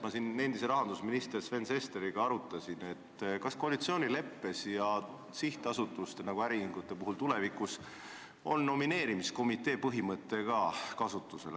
Ma siin endise rahandusministri Sven Sesteriga arutasin, kas koalitsioonileppe järgi on sihtasutustes, nagu äriühingute puhul, tulevikus kasutusel ka nomineerimiskomitee põhimõte.